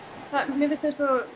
mér finnst eins og